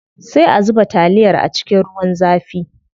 Sai a zuba taliyar a cikin ruwan zafin.